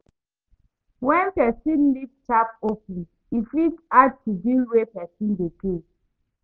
When person leave tap open, e fit add to bill wey person dey pay